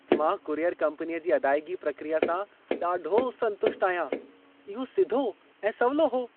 मां कुरियर कम्पनीअ जी अदाइगी प्रक्रिया सां ॾाढो संतुष्ट आहियां। इहो सिधो ऐं सवलो हो।